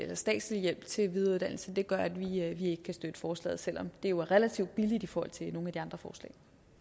statslig hjælp til videreuddannelse gør at vi ikke kan støtte forslaget selv om det jo er relativt billigt i forhold til nogle af de andre forslag